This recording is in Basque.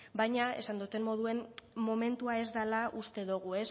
baina esan dudan moduan momentua ez dela uste dugu